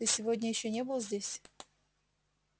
ты сегодня ещё не был здесь